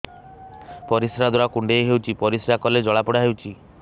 ପରିଶ୍ରା ଦ୍ୱାର କୁଣ୍ଡେଇ ହେଉଚି ପରିଶ୍ରା କଲେ ଜଳାପୋଡା ହେଉଛି